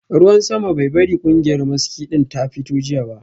Ruwan sama bai bari kungiyar maski din ta fito jiya ba